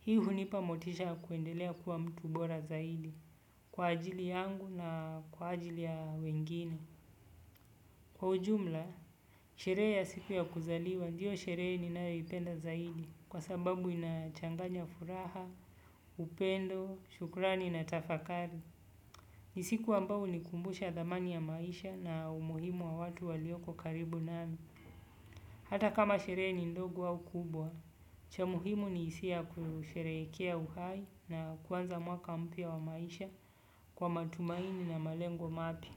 Hii hunipa motisha ya kuendelea kuwa mtu bora zaidi kwa ajili yangu na kwa ajili ya wengine. Kwa ujumla, sherehe ya siku ya kuzaliwa, ndiyo sherehe ninayo ipenda zaidi kwa sababu inachanganya furaha, upendo, shukurani na tafakari. Ni siku ambayo hunikumbusha dhamani ya maisha na umuhimu wa watu walioko karibu nami. Hata kama sherehe ni ndogo au kubwa, cha muhimu ni hisia kusherekea uhai na kuanza mwaka mpya wa maisha kwa matumaini na malengo mapya.